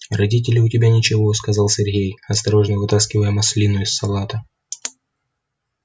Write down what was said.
а родители у тебя ничего сказал сергей осторожно вытаскивая маслину из салата